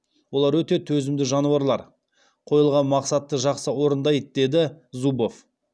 олар өте төзімді жануарлар қойылған мақсатты жақсы орындайды деді зубов